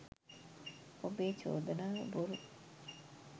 ඔබේ චෝදනාව බොරු